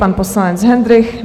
Pan poslanec Hendrych.